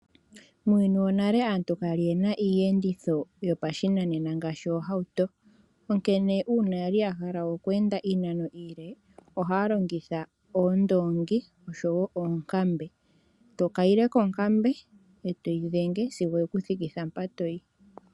Muuyuni wonale aantu kayali yena Iiyenditho yopashinanena ngaashi oohauto, onkene uuna yali yahala oku enda iinano iile ohaya longitha oondoongi oshowo oonkambe . Tokayile konkambe etoyi dhenge sigo ye kuthikitha mpoka toyi.